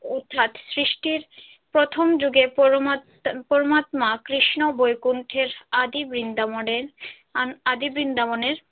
সৃষ্টির প্রথম যুগের পরমাত্মা কৃষ্ণ বৈকুণ্ঠের আদি বৃন্দাবনের আদি বৃন্দাবনের।